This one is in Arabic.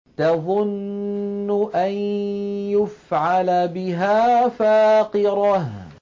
تَظُنُّ أَن يُفْعَلَ بِهَا فَاقِرَةٌ